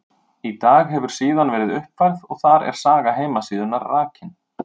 Í dag hefur síðan verið uppfærð og þar er saga heimasíðunnar rakin.